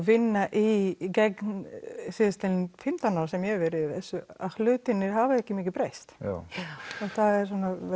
vinna í síðustu fimmtán ár sem ég hef verið í þessu hlutirnir hafa ekki mikið breyst það eru